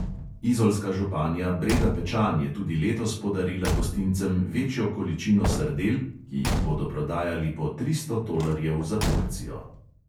Izolska županja breda pečan je tudi letos podarila gostincem večjo količino sardel, ki jih bodo prodajali po tristo tolarjev za porcijo.